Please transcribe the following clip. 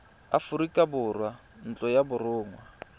aforika borwa ntlo ya borongwa